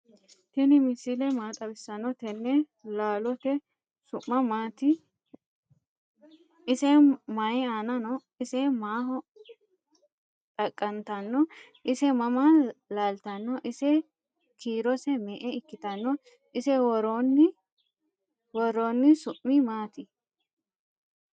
tini misile maa xawisanote?"tene laloote su'mi mati? ise mayi aana no?ise maaho xaqanttano? ise mama laltano? ise kiirose me'e ikkitano? ise woroni su'mi maati?